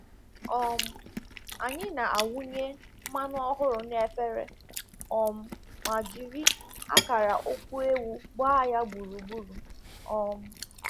um Anyị na-awụnye mmanụ ọhụrụ n'efere um ma jiri akara ụkwụ ewu gbaa ya gburugburu. um